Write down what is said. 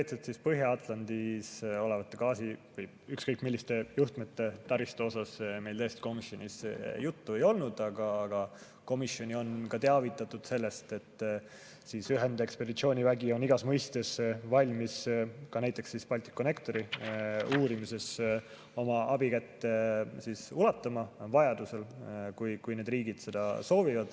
Konkreetselt Põhja-Atlandil olevate gaasi‑ või ükskõik milliste juhtmete taristust meil komisjonis juttu ei olnud, aga komisjoni on teavitatud sellest, et ühendekspeditsioonivägi on igas mõistes valmis ka näiteks Balticconnectori uurimises oma abikätt ulatama vajaduse korral, kui need riigid seda soovivad.